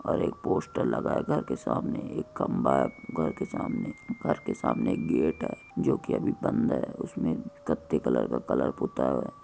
और एक पोस्टर लाग्याका के सामने एक खम्बा हैं घर के सामने के सामने एक गेट हैं जो की अभी बंद हैं उसमे कथै कलर का कलर किया हुआ हैं।